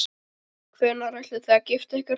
Hvenær ætlið þið að gifta ykkur?